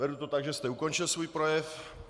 Beru to tak, že jste ukončil svůj projev.